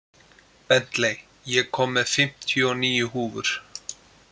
Bentley, ég kom með fimmtíu og níu húfur!